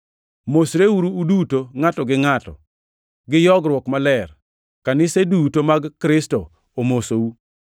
Mosreuru, uduto ngʼato gi ngʼato, gi yogruok maler. Kanise duto mag Kristo omosou.